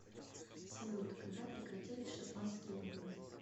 салют когда прекратились шотландские выборы